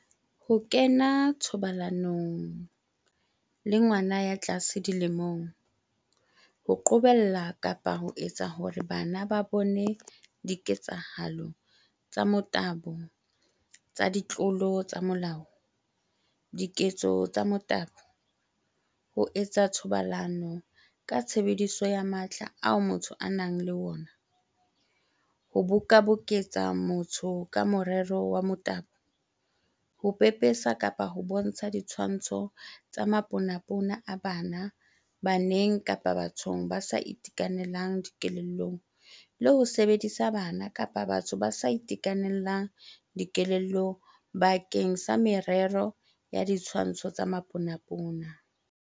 Ho kena thobalanong le ngwana ya tlase dilemong, Ho qobella kapa ho etsa hore bana ba bone diketsahalo tsa motabo tsa ditlolo tsa molao, Diketso tsa motabo, Ho etsa thobalano ka tshebediso ya matla ao motho a nang le ona, Ho bokaboketsa motho ka morero wa motabo, Ho pepesa kapa ho bontsha ditshwantsho tsa maponapona a bana baneng kapa bathong ba sa itekanelang dikelellong le ho sebedisa bana kapa batho ba sa itekanelang dikelellong bakeng sa merero ya ditshwantsho tsa maponapona.